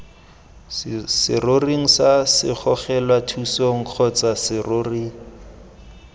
seroring sa segogelathusong kgotsa serori